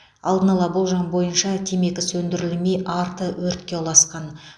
алдын ала болжам бойынша темекі сөндірілмей арты өртке ұласқан